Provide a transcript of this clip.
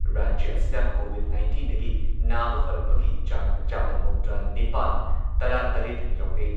ꯔꯥꯖ꯭ꯌ ꯑꯁꯤꯗ ꯀꯣꯚꯤꯗ ꯅꯥꯏꯟꯇꯤꯟꯗꯒꯤ ꯅꯥꯕ ꯐꯔꯛꯄꯒꯤ ꯆꯥꯡ ꯆꯥꯗ ꯃꯧꯗ꯭ꯔꯥꯅꯤꯄꯥꯟ ꯇꯔꯥꯇꯔꯦꯠ ꯌꯧꯔꯦ꯫